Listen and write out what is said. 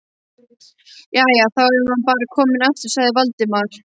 Jæja, þá er maður bara kominn aftur- sagði Valdimar.